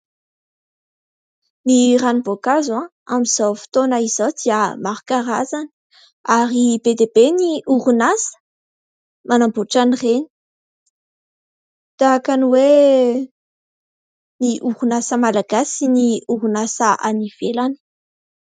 Ny ranom6boankazo amin'izao fotoana izao dia maro karazana ary be dia be ny orinasa manamboatra an'ireny tahaka ny hoe ny orinasa malagasy sy ny orinasa any ivelany.